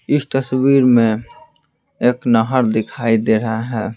इस तस्वीर में एक नाहर दिखाई दे रहा है ।